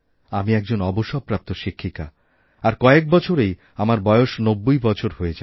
আমি একজনঅবসরপ্রাপ্ত শিক্ষিকা আর কয়েক বছরেই আমার বয়স নব্বই বছর হয়ে যাবে